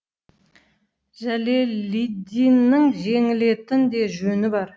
жәлелиддиннің жеңілетін де жөні бар